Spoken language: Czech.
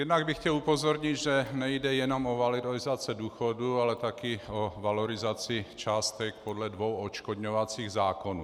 Jednak bych chtěl upozornit, že nejde jenom o valorizaci důchodů, ale také o valorizaci částek podle dvou odškodňovacích zákonů.